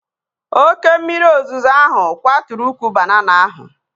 Oke mmiri ozuzo ahụ kwaturu ukwu banana ahụ